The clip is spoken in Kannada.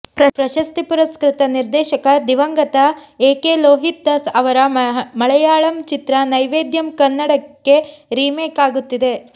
ಪ್ರಶಸ್ತಿ ಪುರಸ್ಕೃತ ನಿರ್ದೇಶಕ ದಿವಂಗತ ಎ ಕೆ ಲೋಹಿತ್ ದಾಸ್ ಅವರ ಮಳೆಯಾಳಂ ಚಿತ್ರ ನೈವೇದ್ಯಂ ಕನ್ನಡಕ್ಕೆ ರೀಮೇಕ್ ಆಗುತ್ತಿದೆ